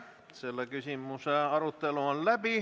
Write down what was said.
Selle küsimuse arutelu on läbi.